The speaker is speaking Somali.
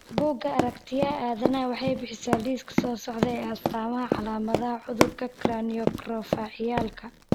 Bugaa Aaaragtiyaah Aadanaah waxay bixisaa liiska soo socda ee astamaha iyo calaamadaha cudurka Cranioacrofacialka.